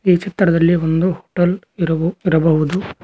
ಈ ಚಿತ್ರದಲ್ಲಿ ಒಂದು ಬಲ್ಪ್ ಇರಬು ಇರಬಹುದು.